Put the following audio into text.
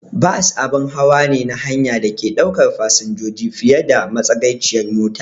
Bas abun hawa ne na hanya da take ɗaukar fasinjoji fiye da matsagaiciyar mota.